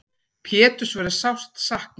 Péturs verður sárt saknað.